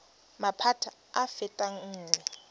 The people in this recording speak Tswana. maphata a a fetang nngwe